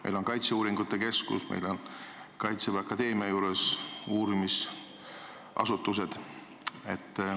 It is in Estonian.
Meil on kaitseuuringute keskus, meil on Kaitseväe Akadeemia juures uurimisasutused.